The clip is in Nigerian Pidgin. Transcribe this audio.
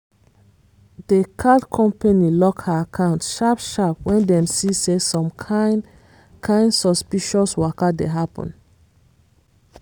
the card company lock her account sharp sharp when dem see say some kain kain suspicious waka dey happen.